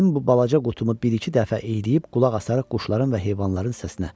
Mənim bu balaca qutumu bir-iki dəfə iyləyib qulaq asarıq quşların və heyvanların səsinə.